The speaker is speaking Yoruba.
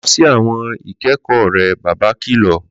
Lọ sí àwọn ìkẹ́kọ̀ọ́ rẹ, bàbá kìlọ̀